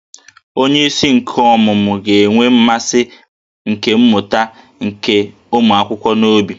Onyeisi nke ọmụmụ ga-enwe mmasị nke mmụta nke ụmụ akwụkwọ n'obi